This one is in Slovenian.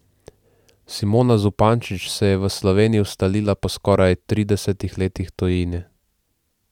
Simona Zupančič se je v Sloveniji ustalila po skoraj tridesetih letih tujine.